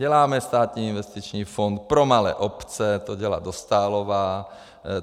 Děláme státní investiční fond pro malé obce, to dělá Dostálová.